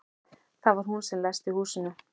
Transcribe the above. Það var hún sem læsti húsinu.